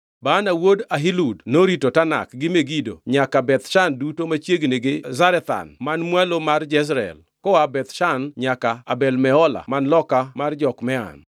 Baana wuod Ahilud norito Tanak, gi Megido nyaka Beth Shan duto machiegni gi Zarethan man mwalo mar Jezreel, koa Beth Shan nyaka Abel Mehola man loka mar Jokmeam.